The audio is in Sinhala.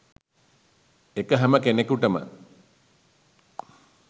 ඒක හැම කෙනෙකුටම